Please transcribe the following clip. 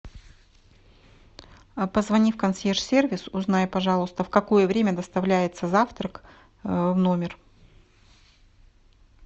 а позвони в консьерж сервис узнай пожалуйста в какое время доставляется завтрак в номер